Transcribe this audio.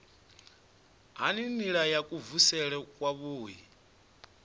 ha nila ya kuvhusele kwavhui